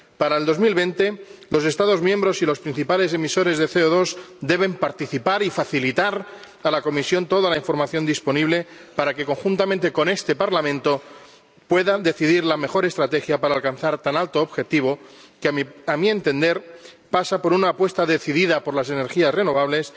Para 2020, los Estados miembros y los principales emisores de CO2 deben participar y facilitar a la Comisión toda la información disponible para que, conjuntamente con este Parlamento, puedan decidir la mejor estrategia para alcanzar tan alto objetivo que, a mi entender, pasa por una apuesta decidida por las energías renovables